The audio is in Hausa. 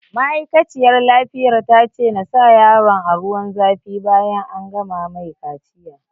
Ma'aikaciyar lafiyar ta ce na sa yaron a ruwan zafi bayan an gama mai kaciya